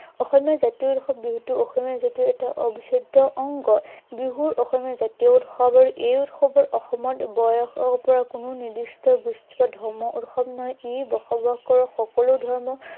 অসমীয়া জাতীয় উৎসৱ বিহুটো অসমীয়া জাতিৰ এটা অবিচ্ছেদ্য় অংগ। বিহু অসমীয়া জাতীয় উৎসৱ আৰু এই উৎসৱত অসমত পৰা কোনো নিৰ্দিষ্ট ধৰ্মীয় উৎসৱ নহয়। ই অসমত বসবাস কৰা সকলো ধৰ্ম